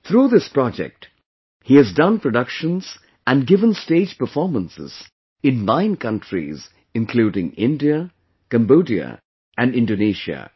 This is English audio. Through this project, he has done productions and given stage performances in nine countries including India, Cambodia and Indonesia